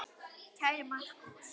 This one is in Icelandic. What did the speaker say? Kæri Markús.